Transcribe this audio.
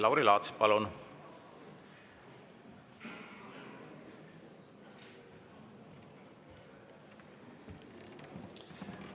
Lauri Laats, palun!